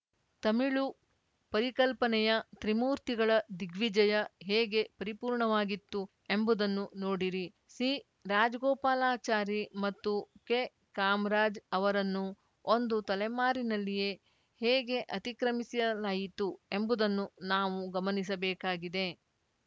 ತಮಿಳು ಪರಿಕಲ್ಪನೆಯ ತ್ರಿಮೂರ್ತಿಗಳ ದಿಗ್ವಿಜಯ ಹೇಗೆ ಪರಿಪೂರ್ಣವಾಗಿತ್ತು ಎಂಬುದನ್ನು ನೋಡಿರಿ ಸಿರಾಜಗೋಪಾಲಾಚಾರಿ ಮತ್ತು ಕೆಕಾಮರಾಜ್‌ ಅವರನ್ನು ಒಂದು ತಲೆಮಾರಿನಲ್ಲಿಯೇ ಹೇಗೆ ಅತಿಕ್ರಮಿಸಲಾಯಿತು ಎಂಬುದನ್ನು ನಾವು ಗಮನಿಸಬೇಕಾಗಿದೆ